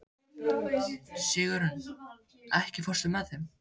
Sigurunn, ekki fórstu með þeim?